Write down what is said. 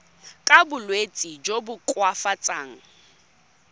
ka bolwetsi jo bo koafatsang